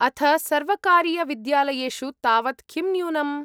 अथ सर्वकारीयविद्यालयेषु तावत् किं न्यूनम्?